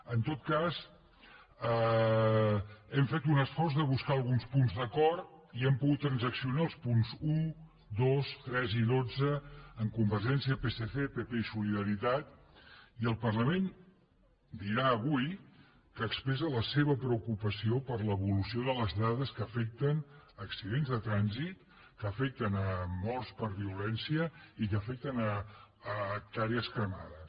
en tot cas hem fet un esforç de buscar alguns punts d’acord i hem pogut transaccionar els punts un dos tres i dotze amb convergència psc pp i solidaritat i el parlament dirà avui que expressa la seva preocupació per l’evolució de les dades que afecten accidents de trànsit que afecten morts per vio lència i que afecten hectàrees cremades